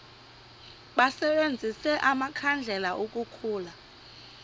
basebenzise amakhandlela ukukhulula